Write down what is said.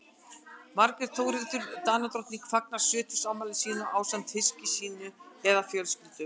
margrét þórhildur danadrottning fagnar sjötugsafmæli sínu ásamt hyski sínu eða fjölskyldu